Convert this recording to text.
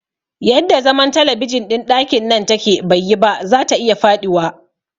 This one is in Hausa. Yadda zaman talabijin ɗin ɗakin nan take baiyi ba, zata iya faɗiwa